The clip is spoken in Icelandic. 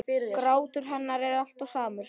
Grátur hennar er alltaf samur.